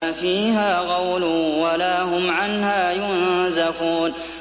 لَا فِيهَا غَوْلٌ وَلَا هُمْ عَنْهَا يُنزَفُونَ